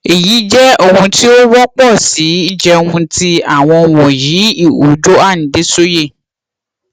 eyi jẹ ohun ti o wọpọ si jẹun ti awọn wọnyi iho joan dessoye